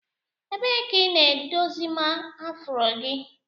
Ebee ka ị na-edozima afro gị?